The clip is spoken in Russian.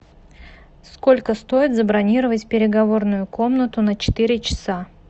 сколько стоит забронировать переговорную комнату на четыре часа